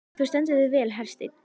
Þú stendur þig vel, Hersteinn!